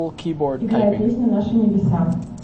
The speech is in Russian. играй песню наши небеса